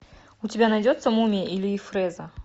у тебя найдется мумия ильи фрэза